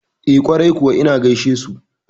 E, kwarai kuwa ina gaishesu.